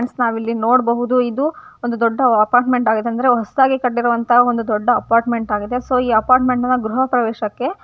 friends ನಾವಿಲ್ಲಿ ನೋಡಬಹುದು ಇದು ಒಂದು ದೊಡ್ಡ ಅಪಾರ್ಟ್ಮೆಂಟ್ ಆಗಿದೆ ಅಂದ್ರೆ ಹೊಸದಾಗಿ ಕಟ್ಟಿರೋಅಂತಹ ಒಂದು ದೊಡ್ಡ ಅಪಾರ್ಟ್ಮೆಂಟ್ ಆಗಿದೆ ಸೊ ಈ ಅಪಾರ್ಟ್ಮೆಂಟ್ ನ ಗ್ರಹ ಪ್ರವೇಶ ಕ್ಕೆ--